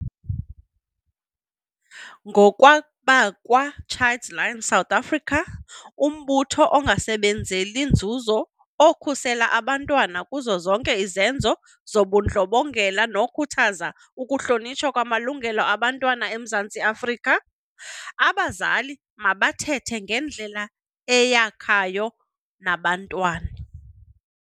Ngokwabakwa-Childline South Africa, umbutho ongasebenzeli nzuzo okhusela abantwana kuzo zonke izenzo zobundlobongela nokhuthaza ukuhlonitshwa kwamalungelo abantwana eMzantsi Afrika, abazali mabathethe ngendlela eyakhayo nabantwana.